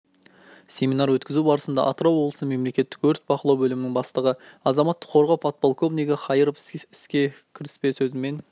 семинар өткізу барысында атырау облысы мемлекеттік өрт бақылау бөлімінің бастығы азаматтық қорғау подполковнигі қайыров кіріспе сөзімен